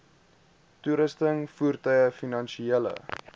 toerusting voertuie finansiële